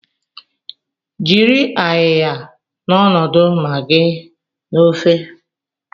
Jiri ayiya n'ọnọdụ magịị na ofe.